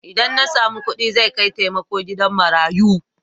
Idan na samu kuɗi zai kai taimako gida marayu.